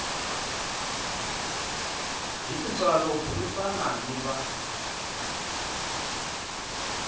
hi tintswalo burisana ni va